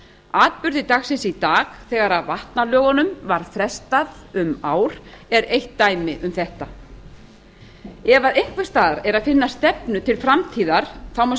atburðir dagsins í dag þegar vatnalögunum var frestað um ár er eitt dæmi um þetta ef einhvers staðar er að finna stefnu til framtíðar má